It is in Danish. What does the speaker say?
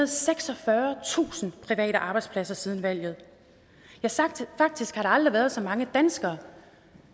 og seksogfyrretusind private arbejdspladser siden valget ja faktisk har der aldrig været så mange danskere